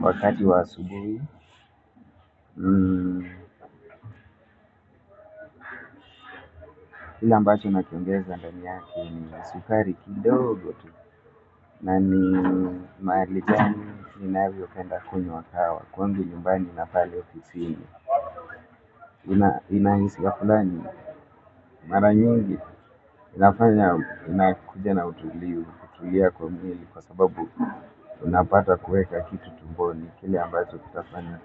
wakati wa asubuhi kile ambacho na kiongeza ndani yake ni sukari kidogo tu, na ni mahali gani ninavyo penda kunywa kahawa, kwangu nyumbani na pale ofisini, inahisia fulani, mara nyingi inafanya unakuja na utulivu, kutulia kwa mwili, kwa sababu unapata kuweka kitu tumboni kile ambacho kitafanya.